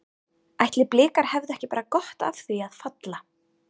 Ætli Blikar hefðu ekki bara gott af því að falla?